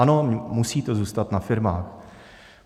Ano, musí to zůstat na firmách.